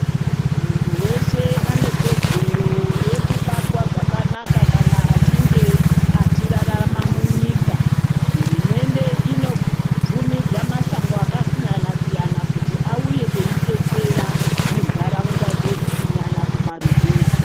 Mundu weshe anekodzero yekubatwe zvakanaka kana achinge achirarama munyika hurumende inobvumidzwa masangano akasiyana siyana kuti auye ichidetsera mundaraunda dzedu kunyanya kumaruzevha.